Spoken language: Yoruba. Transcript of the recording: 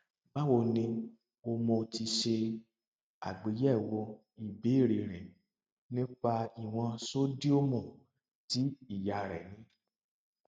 báwo ni o mo ti ṣe àgbéyẹwò ìbéèrè rẹ nípa ìwọn ṣódíọọmù tí ìyá rẹ ní